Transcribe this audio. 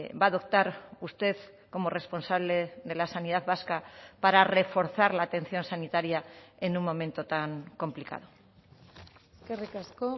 va a adoptar usted como responsable de la sanidad vasca para reforzar la atención sanitaria en un momento tan complicado eskerrik asko